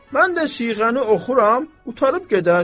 Mən də siğəni oxuyuram, qurtarıb gedər.